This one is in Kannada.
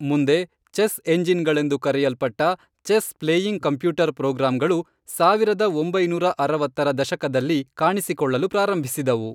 ಮುಂದೆ ಚೆಸ್ ಎಂಜಿನ್ಗಳೆಂದು ಕರೆಯಲ್ಪಟ್ಟ, ಚೆಸ್ ಪ್ಲೇಯಿಂಗ್ ಕಂಪ್ಯೂಟರ್ ಪ್ರೋಗ್ರಾಂಗಳು ಸಾವಿರದ ಒಂಬೈನೂರ ಅರವತ್ತರ ದಶಕದಲ್ಲಿ ಕಾಣಿಸಿಕೊಳ್ಳಲು ಪ್ರಾರಂಭಿಸಿದವು.